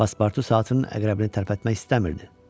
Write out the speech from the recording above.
Paspartu saatının əqrəbini tərpətmək istəmirdi.